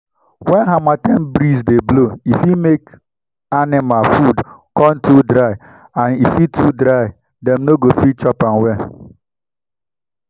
when harmattan breeze dey blow e fit make animal food come too dry and if e too dry dem no go fit chop am well